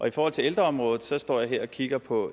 i forhold til ældreområdet står jeg her og kigger på